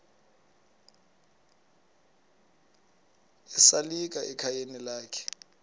esalika ekhayeni lakhe